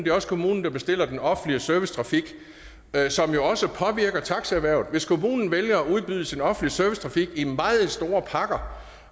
er også kommunen der bestiller den offentlige servicetrafik som jo også påvirker taxaerhvervet hvis kommunen vælger at udvide sin offentlige servicetrafik i meget store pakker